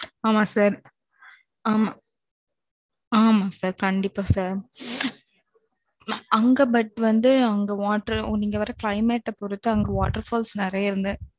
ஆமா sir ஆமா, ஆமா sir கண்டிப்பா சார் அங்க, but வந்து, அங்க water ஓ, நீங்க வர climate அ பொறுத்து, அங்க water falls நிறைய இருந்தது